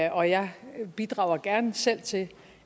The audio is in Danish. og jeg bidrager gerne selv til